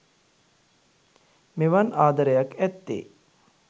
මෙවන් ආදරයක් ඇත්තේ